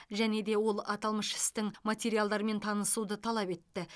және де ол аталмыш істің материалдарымен танысуды талап етті